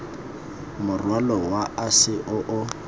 morwalo wa ase o o